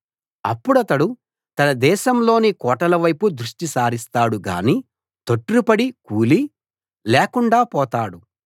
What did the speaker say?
అప్పుడతడు తన దేశాలోని కోటల వైపు దృష్టి సారిస్తాడు గాని తొట్రుపడి కూలి లేకుండా పోతాడు